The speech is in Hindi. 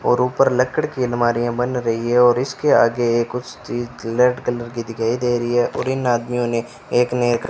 और ऊपर लकड़ी की अलमारियां बन रही है और इसके आगे एक कुछ चीज रेड कलर की दिखाई दे रही है और इन आदमियों ने एक ने --